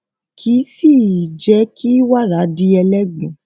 kì sì íjé kí wàrà di ẹlégbin